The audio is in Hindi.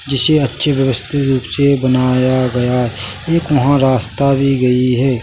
जिसे अच्छे व्यवस्थित रूप से बनाया गया एक वहाँ रास्ता भी गई है।